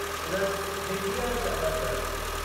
उन्हनि हिंदीअ में शपथ वरिती।